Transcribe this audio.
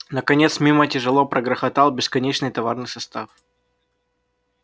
наконец мимо тяжело прогрохотал бесконечный товарный состав